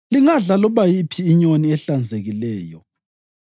Lingadla loba yiphi inyoni ehlanzekileyo.